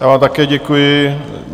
Já vám také děkuji.